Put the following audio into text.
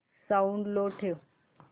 sound लो ठेव